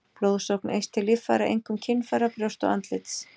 Blóðsókn eykst til líffæra, einkum kynfæra, brjósta og andlits.